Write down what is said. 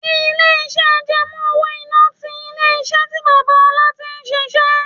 Ilé iṣẹ́ àjẹmó-owó-iná ti ilé-iṣẹ́ tí bàbá Ọlá tí ń ṣíṣe.